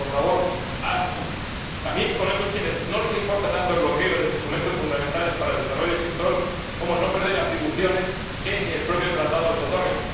Por favor, ¡hágalo! También chocan con esos a quienes no importa tanto el bloqueo de instrumentos fundamentales para el desarrollo del sector como el no perder atribuciones que ni el propio Tratado les otorga.